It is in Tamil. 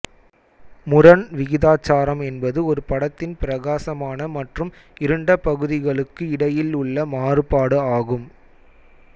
முரண் விகிதாச்சாரம் என்பது ஒரு படத்தின் பிரகாசமான மற்றும் இருண்ட பகுதிகளுக்கு இடையில் உள்ள மாறுபாடு ஆகும்